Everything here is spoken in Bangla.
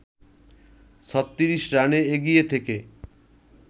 ৩৬ রানে এগিয়ে থেকে